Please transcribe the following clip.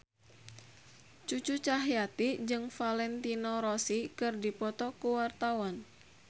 Cucu Cahyati jeung Valentino Rossi keur dipoto ku wartawan